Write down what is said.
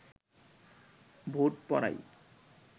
vote পড়ায়